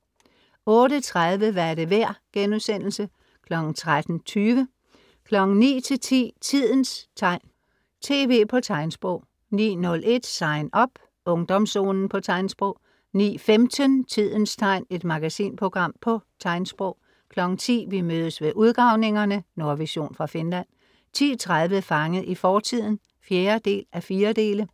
08:30 Hvad er det værd?* (13:20) 09:00 - 10:00 Tidens tegn. TV på tegnsprog 09:01 SIGN UP. Ungdomszonen på tegnsprog 09:15 Tidens tegn. Et magasinprogram på tegnsprog 10:00 Vi mødes ved udgravningerne! Nordvision fra Finland 10:30 Fanget i fortiden (4:4)